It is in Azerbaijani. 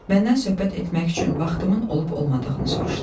Məndən söhbət etmək üçün vaxtımın olub-olmadığını soruşdu.